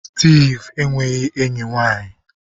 Steve enweghị enyi nwanyị.